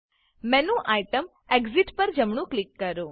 menu item exit પર જમણું click કરો